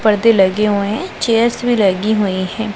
पार्दे लगे हुएं है चेयर्स भी लगी हुई है।